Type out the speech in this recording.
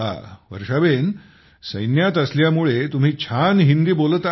हा सैन्यात असल्यामुळे तुम्ही छान हिंदी बोलत आहात